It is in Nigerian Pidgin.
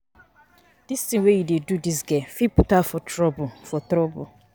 Dis thing wey you dey do dis girl fit put her for trouble for trouble